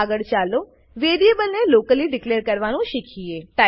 આગળ ચાલો વેરીએબલ ને લોકલી ડીકલેર કરવાનું શીખીએ